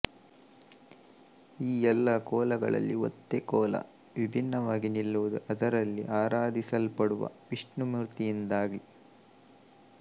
ಈ ಎಲ್ಲಾ ಕೋಲಗಳಲ್ಲಿ ಒತ್ತೆ ಕೋಲ ವಿಭಿನ್ನವಾಗಿ ನಿಲ್ಲುವುದು ಅದರಲ್ಲಿ ಆರಾಧಿಸಲ್ಪಡುವ ವಿಷ್ಣುಮೂರ್ತಿಯಿಂದಾಗಿ